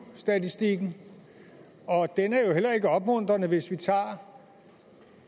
statistikken og den er jo heller ikke opmuntrende hvis vi tager